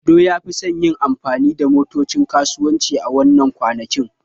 Ado ya fi son yin amfani da motocin kasuwanci a wannan kwanakin.